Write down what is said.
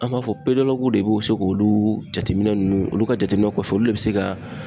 An b'a fɔ de bɛ se k'olu jateminɛ nunnu ,olu ka jateminɛ kɔfɛ olu de be se ka